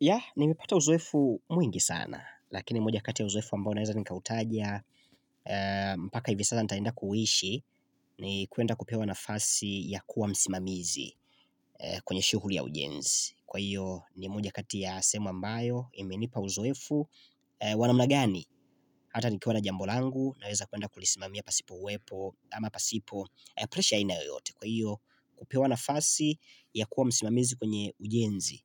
Yeah, nimepata uzoefu mwingi sana, lakini moja kati ya uzoefu ambayo naweza nika utajia, mpaka hivi sasa nitaenda kuishi ni kuenda kupewa nafasi ya kuwa msimamizi kwenye shughuli ya ujenzi. Kwa hiyo, ni moja kati ya semu ambayo, imenipa uzoefu, wa namna gani, hata nikiwa na jambol angu, naweza kuenda kulisimamia pasipo huepo, ama pasipo, pressure ina yote. Kwa hiyo kupewa nafasi ya kuwa msimamizi kwenye ujenzi